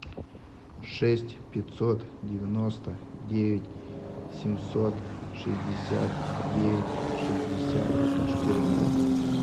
шесть пятьсот девяносто девять семьсот шестьдесят девять шестьдесят четырнадцать